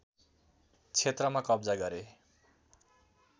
क्षेत्रमा कब्जा गरे